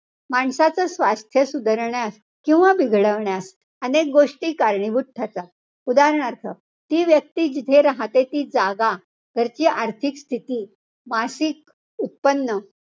माणसाचं स्वास्थ्य सुधारण्यास किंवा बिघडवण्यास अनेक गोष्टी कारणीभूत ठरतात. उदाहरणार्थ, ती व्यक्ती जिथे राहते ती जागा, घरची आर्थिक स्थिती, मासिक उत्पन्न,